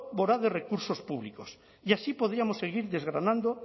voraz de recursos públicos y así podríamos seguir desgranando